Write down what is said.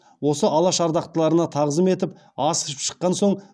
осы алаш ардақтыларына тағзым етіп ас ішіп шықан соң